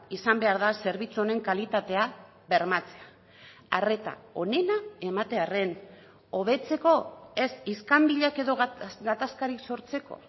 izan behar da zerbitzu honen kalitatea bermatzea arreta onena ematearren hobetzeko ez iskanbilak edo gatazkarik sortzeko